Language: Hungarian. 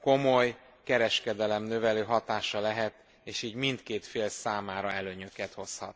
komoly kereskedelemnövelő hatása lehet, és így mindkét fél számára előnyöket hozhat.